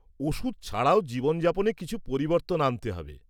ওষুধ ছাড়াও জীবনযাপনে কিছু পরিবর্তন আনতে হবে।